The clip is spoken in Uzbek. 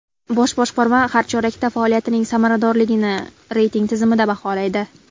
Bosh boshqarma har chorakda faoliyatining samaradorligini reyting tizimida baholaydi.